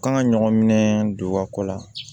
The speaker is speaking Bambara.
Kan ka ɲɔgɔn minɛ don ka ko la